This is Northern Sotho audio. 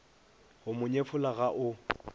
go mo nyefola ga o